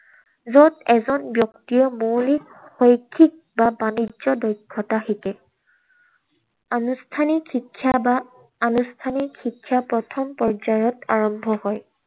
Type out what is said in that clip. যত এজন ব্যক্তিয়ে মৌলিক, শৈক্ষিক বা বাণিজ্য দক্ষতা শিকে। আনুষ্ঠানিক শিক্ষা বা আনুষ্ঠানিক শিক্ষা প্ৰথম পৰ্য্যায়ত আৰম্ভ হয়।